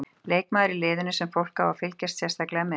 Leikmaður í liðinu sem fólk á að fylgjast sérstaklega með?